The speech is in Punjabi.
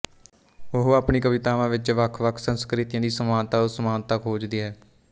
ਉਹ ਆਪਣੀ ਕਵਿਤਾਵਾਂ ਵਿੱਚ ਵੱਖਵੱਖ ਸੰਸਕ੍ਰਿਤੀਆਂ ਦੀ ਸਮਾਨਤਾਅਸਮਾਨਤਾ ਖੋਜਦੀ ਹੈ